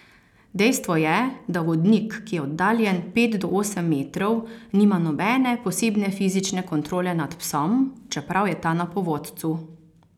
Dejstvo je, da vodnik, ki je oddaljen pet do osem metrov, nima nobene posebne fizične kontrole nad psom, čeprav je ta na povodcu.